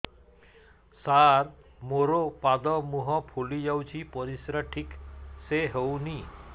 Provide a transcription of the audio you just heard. ସାର ମୋରୋ ପାଦ ମୁହଁ ଫୁଲିଯାଉଛି ପରିଶ୍ରା ଠିକ ସେ ହଉନି